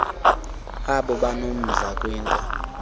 abo banomdla kwinto